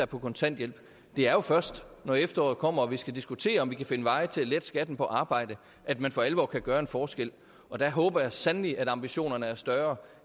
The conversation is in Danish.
på kontanthjælp det er jo først når efteråret kommer og vi skal diskutere om vi kan finde veje til at lette skatten på arbejde at man for alvor kan gøre en forskel og der håber jeg sandelig at ambitionerne er større